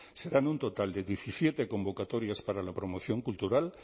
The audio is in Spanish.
serán un total de diecisiete convocatorias para la promoción cultural